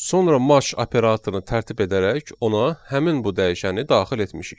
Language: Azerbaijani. Sonra match operatorunu tərtib edərək ona həmin bu dəyişəni daxil etmişik.